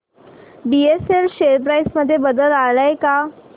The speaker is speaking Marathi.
बीएसएल शेअर प्राइस मध्ये बदल आलाय का